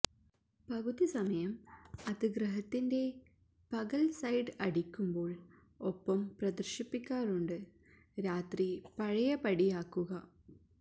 പകുതി സമയം അത് ഗ്രഹത്തിന്റെ പകൽ സൈഡ് അടിക്കുമ്പോൾ ഒപ്പം പ്രദശിപ്പിക്കാറുണ്ട് രാത്രി പഴയപടിയാക്കുക